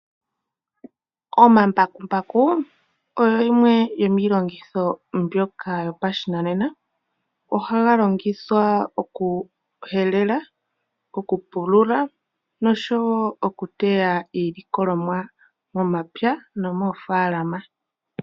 Omambakumbaku oyo yimwe yomiilongitho mbyoka yopashinanena. Ohaga longithwa okuhelela, okupulula nosho wo okuteya iilikolomwa momapya nomoofaalama.